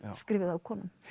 skrifuð af konum